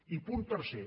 i punt tercer